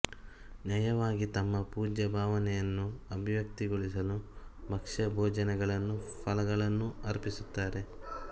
ನಯವಾಗಿ ತಮ್ಮ ಪೂಜ್ಯ ಭಾವನೆಯನ್ನು ಅಭಿವ್ಯಕ್ತಿಗೊಳಿಸಲು ಭಕ್ಷ್ಯಭೋಜ್ಯಗಳನ್ನೂ ಫಲಗಳನ್ನೂ ಅರ್ಪಿಸುತ್ತಾರೆ